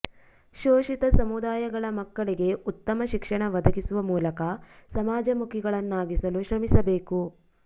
ಶೋಷಿತ ಸಮುದಾಯಗಳ ಮಕ್ಕಳಿಗೆ ಉತ್ತಮ ಶಿಕ್ಷಣ ಒದಗಿಸುವ ಮೂಲಕ ಸಮಾಜ ಮುಖಿಗಳನ್ನಾಗಿಸಲು ಶ್ರಮಿಸಬೇಕು